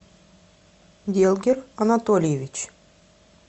делгер анатольевич